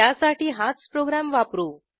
त्यासाठी हाच प्रोग्रॅम वापरू